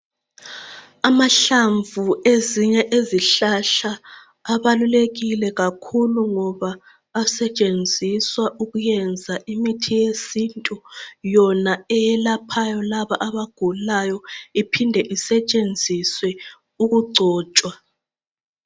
Amahlamvu ezinye izihlahla abalulekile kakhulu ngoba asetshenziswa ukuyenza imithi yesintu Yona eyelaphayo laba abagulayo iphinde isetshenziswe ukugcotshwa.